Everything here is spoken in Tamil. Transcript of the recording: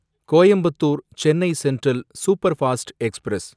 Coimbatore Chennai central superfast express